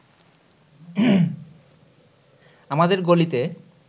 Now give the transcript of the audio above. আমাদের গলিতে